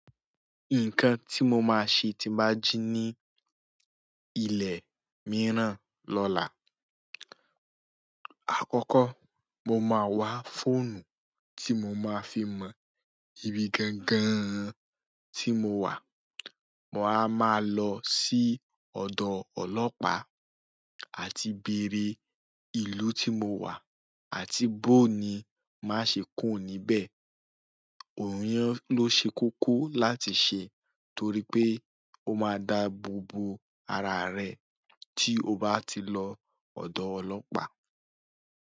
Nǹkan tí mo máa ṣe tí n bá jí ní ilẹ̀ mìíràn lọ́la. Àkọ́kọ́, mo máa wá fóònù tí mo máa fi mọ ibi gangan tí mo wà. Mo wa máa lọ sí ọ̀dọ̀ ọlọ́pàá àti bèrè ìlú tí mo wà àti boó ni má ṣe kúrò níbẹ̀. Àwọn yen ló ṣe kókó láti ṣe torí pé ó máa dabobo ara rẹ tí o bá ti lọ ọ̀dọ̀ ọlọ́pàá.